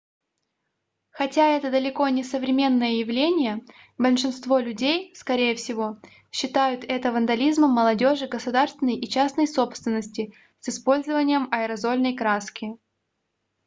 хотя это далеко не современное явление большинство людей скорее всего считают это вандализмом молодёжи государственной и частной собственности с использованием аэрозольной краски